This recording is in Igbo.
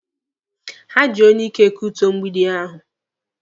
Ha ji onyeike kutuo mgbidi ahụ.